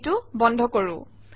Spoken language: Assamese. এইটো বন্ধ কৰোঁ